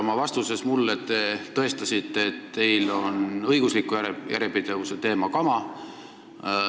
Oma vastuses mulle te tõestasite, et õigusliku järjepidevuse teema on teile kama.